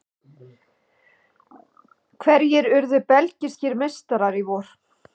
Hverjir urðu belgískir meistarar í vor?